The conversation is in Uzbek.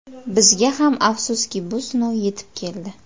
Bizga ham, afsuski, bu sinov yetib keldi.